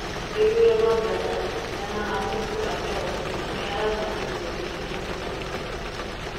Gĩthurano Ghana: Nana Akufo-Addo nĩ aracagũrirwo rĩngĩ ta mũnene wa burũri